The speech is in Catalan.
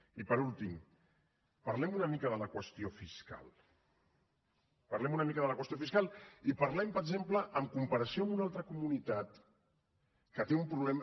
i per últim parlem una mica de la qüestió fiscal parlem una mica de la qüestió fiscal i parlem per exemple en comparació amb una altra comunitat que té un problema